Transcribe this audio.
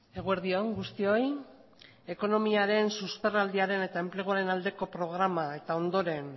eguerdi on guztioi ekonomiaren susperraldiaren eta enpleguaren aldeko programa eta ondoren